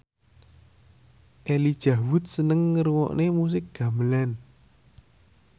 Elijah Wood seneng ngrungokne musik gamelan